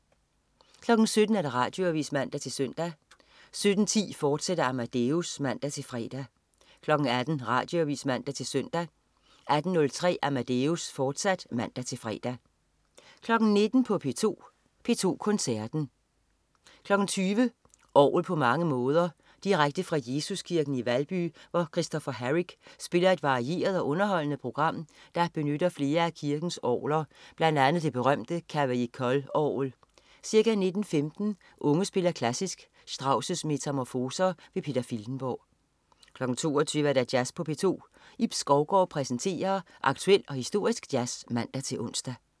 17.00 Radioavis (man-søn) 17.10 Amadeus, fortsat (man-fre) 18.00 Radioavis (man-søn) 18.03 Amadeus, fortsat (man-fre) 19.00 P2 Koncerten. 20.00 Orgel på mange måder. Direkte fra Jesuskirken i Valby, hvor Christopher Harrick spiller et varieret og underholdende program, der benytter flere af kirkens orglet, bl.a. det berømte Cavaillé-Coll-orgel. Ca. 19.15 Unge spiller Klassisk. Strauss' Metamorfoser. Peter Filtenborg 22.00 Jazz på P2. Ib Skovgaard præsenterer aktuel og historisk jazz (man-ons)